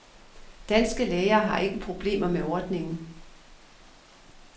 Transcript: Danske læger har ikke problemer med ordningen.